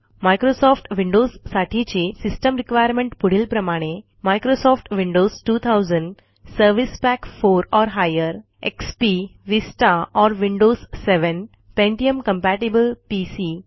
Microsoft विंडोजसाठीची system requirement पुढीलप्रमाणे Microsoft Windows 2000 XP Vista or Windows 7 pentium compatible PC